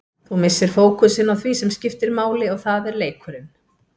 Þú missir fókusinn á því sem skiptir máli og það er leikurinn.